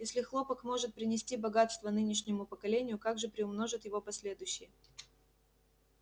если хлопок может принести богатство нынешнему поколению как же приумножат его последующие